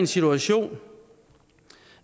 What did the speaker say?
situation